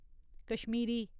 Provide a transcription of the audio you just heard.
Kashmiri